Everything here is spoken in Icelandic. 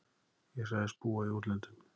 Ég sagðist búa í útlöndum.